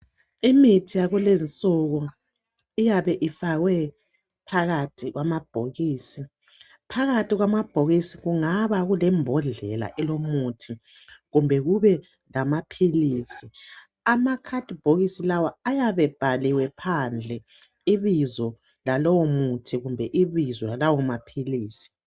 Imithi yakulezinsuku iyabe ifakwe phakathi kwamabhokisi phakathi kwamabhokisi kungaba lembodlela elomuthi kumbe kube lamaphilisi. Amakhadibhokisi lawa ayabe ebhaliwe phandle ibizo lalowo muthi kumbe ibizo lalawo maphilisi.